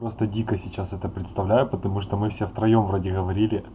просто дико сейчас это представляю потому что мы все втроём вроде говорили